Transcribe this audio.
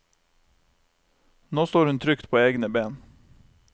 Nå står hun trygt på egne ben.